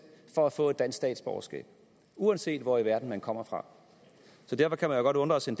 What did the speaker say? for at få dansk statsborgerskab uanset hvor i verden man kommer fra derfor kan man godt undre sig